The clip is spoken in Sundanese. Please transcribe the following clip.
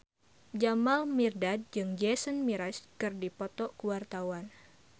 Jamal Mirdad jeung Jason Mraz keur dipoto ku wartawan